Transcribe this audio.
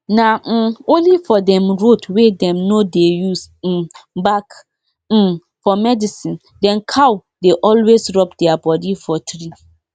e no be only weather dem go check oh any planting wey wey you wan do e must follow di calendar wey our ancestors give us.